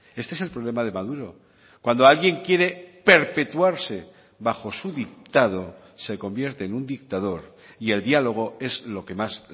este es el problema de maduro cuando alguien quiere perpetuarse bajo su dictado se convierte en un dictador y el diálogo es lo que más